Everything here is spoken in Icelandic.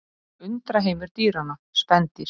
Undraheimur dýranna: Spendýr.